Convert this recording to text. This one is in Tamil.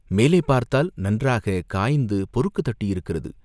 மேலே பார்த்தால் நன்றாய்க் காய்ந்து பொறுக்குத் தட்டியிருக்கிறது.